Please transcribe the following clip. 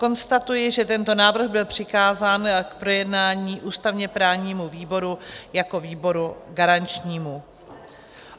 Konstatuji, že tento návrh byl přikázán k projednání ústavně-právnímu výboru jako výboru garančnímu.